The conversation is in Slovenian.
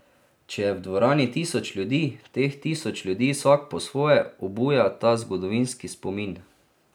Če je v dvorani tisoč ljudi, teh tisoč ljudi vsak po svoje obuja ta zgodovinski spomin.